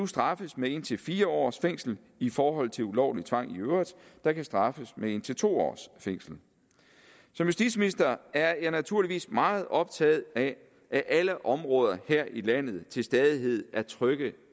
straffes med indtil fire års fængsel i forhold til ulovlig tvang i øvrigt der kan straffes med indtil to års fængsel som justitsminister er jeg naturligvis meget optaget af at alle områder her i landet til stadighed er trygge